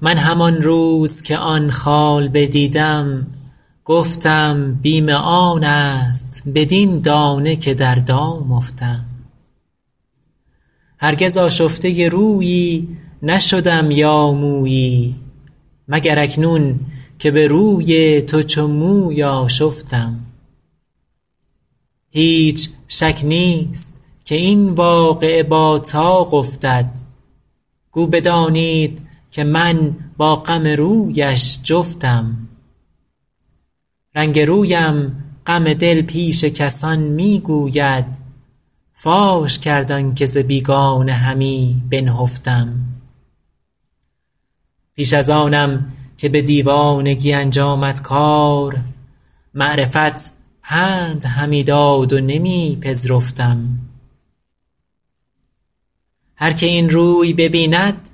من همان روز که آن خال بدیدم گفتم بیم آن است بدین دانه که در دام افتم هرگز آشفته رویی نشدم یا مویی مگر اکنون که به روی تو چو موی آشفتم هیچ شک نیست که این واقعه با طاق افتد گو بدانید که من با غم رویش جفتم رنگ رویم غم دل پیش کسان می گوید فاش کرد آن که ز بیگانه همی بنهفتم پیش از آنم که به دیوانگی انجامد کار معرفت پند همی داد و نمی پذرفتم هر که این روی ببیند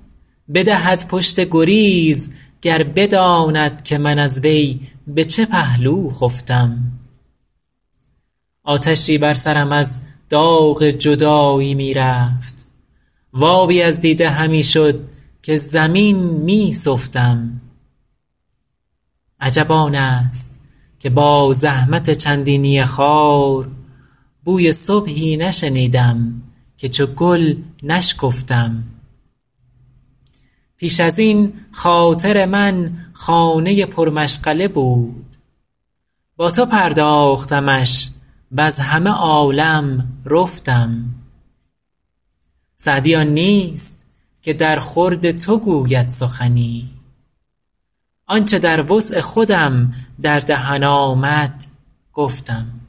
بدهد پشت گریز گر بداند که من از وی به چه پهلو خفتم آتشی بر سرم از داغ جدایی می رفت و آبی از دیده همی شد که زمین می سفتم عجب آن است که با زحمت چندینی خار بوی صبحی نشنیدم که چو گل نشکفتم پیش از این خاطر من خانه پرمشغله بود با تو پرداختمش وز همه عالم رفتم سعدی آن نیست که درخورد تو گوید سخنی آن چه در وسع خودم در دهن آمد گفتم